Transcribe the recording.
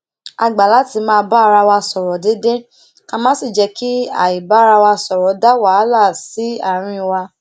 a gbà láti máa bá ara wa sòrò déédéé ká má sì jé kí àibárawasọrọ dá wàhálà sí àárín wa